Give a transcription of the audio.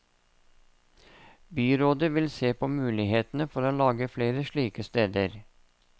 Byrådet vil se på mulighetene for å lage flere slike steder.